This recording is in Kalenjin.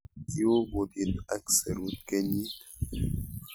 kiu kutit ak serut kenyit